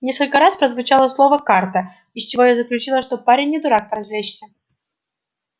несколько раз прозвучало слово карта из чего я заключила что парень не дурак поразвлечься